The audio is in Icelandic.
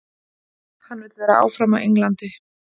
Hann vill vera áfram á Englandi.